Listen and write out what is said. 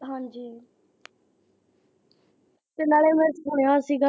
ਹਾਂਜੀ ਤੇ ਨਾਲ ਮੈਂ ਸੁਣਿਆ ਸੀਗਾ।